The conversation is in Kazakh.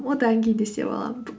одан кейін де істеп аламын